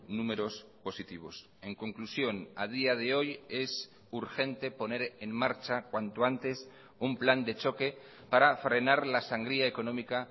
números positivos en conclusión a día de hoy es urgente poner en marcha cuanto antes un plan de choque para frenar la sangría económica